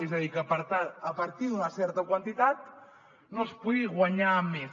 és a dir que a partir d’una certa quantitat no es pugui guanyar més